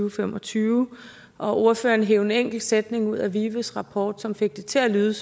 og fem og tyve og ordføreren hev en enkelt sætning ud af vives rapport som fik det til at lyde